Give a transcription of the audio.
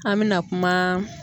An mɛna kuma